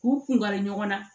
K'u kun kari ɲɔgɔn na